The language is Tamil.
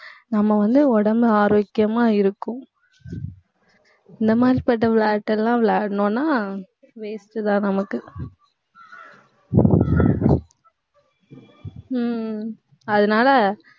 நம்ம வந்து உடம்பு ஆரோக்கியமா இருக்கும் இந்த மாதிரிபட்ட விளையாட்டு எல்லாம் விளையாடணும்னா waste தான் நமக்கு உம் அதனால,